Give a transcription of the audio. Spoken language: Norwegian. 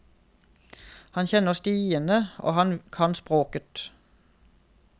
Han kjenner stiene og han kan språket.